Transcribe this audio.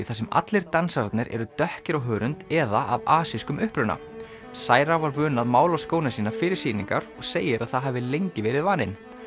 þar sem allir dansararnir eru dökkir á hörund eða af uppruna cira var vön að mála skóna sína fyrir sýningar og segir að það hafi lengi verið vaninn